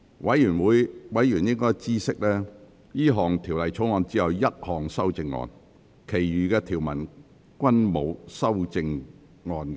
委員應知悉，這項條例草案只有一項修正案，其餘條文均沒有修正案。